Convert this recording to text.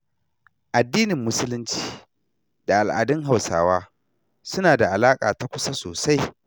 Addinin Musulunci da al'adun Hauswa suna da alaƙa ta kusa sosai.